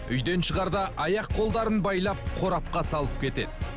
үйден шығарда аяқ қолдарын байлап қорапқа салып кетеді